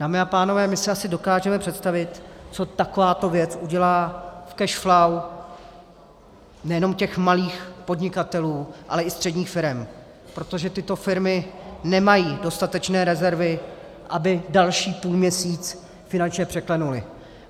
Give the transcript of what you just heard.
Dámy a pánové, my si asi dokážeme představit, co takovéto věc udělá v cash flow nejenom těch malých podnikatelů, ale i středních firem, protože tyto firmy nemají dostatečné rezervy, aby další půlměsíc finančně překlenuly.